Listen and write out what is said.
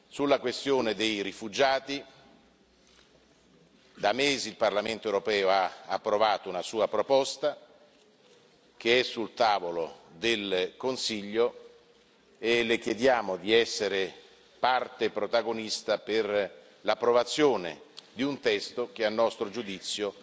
Sulla questione dei rifugiati, da mesi il Parlamento europeo ha approvato una sua proposta che è sul tavolo del Consiglio e Le chiediamo di essere parte protagonista per l'approvazione di un testo che a nostro giudizio